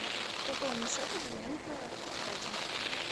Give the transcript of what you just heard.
пополни счет абонента катя